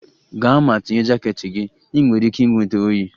Gaa ma tinye jaket gị! Ị nwere ike ịnweta oyi.